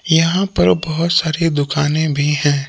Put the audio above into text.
यहां पर बहोत सारी दुकानें भी हैं।